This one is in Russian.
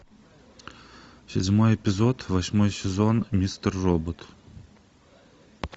седьмой эпизод восьмой сезон мистер робот